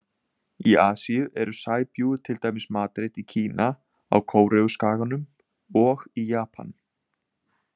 Í Asíu eru sæbjúgu til dæmis matreidd í Kína, á Kóreuskaganum og í Japan.